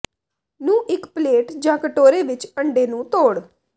ਨੂੰ ਇੱਕ ਪਲੇਟ ਜ ਕਟੋਰੇ ਵਿੱਚ ਅੰਡੇ ਨੂੰ ਤੋੜ